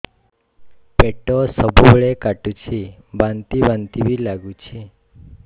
ପେଟ ସବୁବେଳେ କାଟୁଚି ବାନ୍ତି ବାନ୍ତି ବି ଲାଗୁଛି